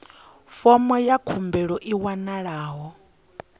fomo ya khumbelo i wanalaho